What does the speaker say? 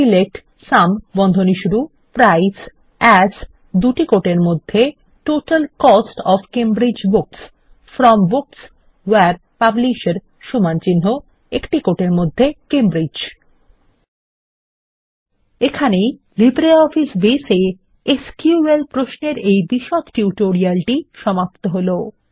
select as total cost of Cambridge books from books where পাবলিশের Cambridge এখানেই LibreOffice Base এ SQL প্রশ্নের এই বিশদ টিউটোরিয়ালটি সমাপ্ত হলো